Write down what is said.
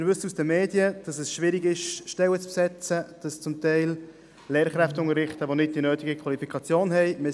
Wir wissen aus den Medien, dass es schwierig ist, Stellen zu besetzen, dass zum Teil Lehrkräfte unterrichten, die nicht die nötige Qualifikation haben.